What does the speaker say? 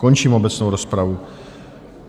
Končím obecnou rozpravu.